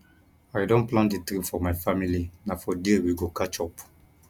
i don plan di trip for my family na for there we go catch up